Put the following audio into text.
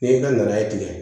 N'i ka nan tigɛ